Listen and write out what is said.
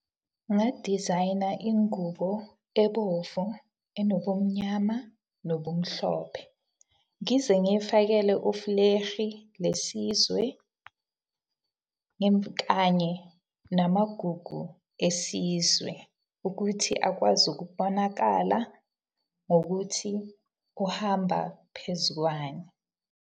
Ngingadizayina ingubo ebovu, enobumnyama, nobumhlophe. Ngize ngifakele lesizwe, kanye namagugu esizwe ukuthi akwazi ukubonakala ngokuthi uhamba phezukwani.